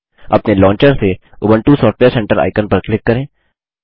अपने लॉन्चर से Ubuntu software centre icon पर क्लिक करें